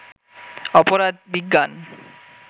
অপরাধ বিজ্ঞান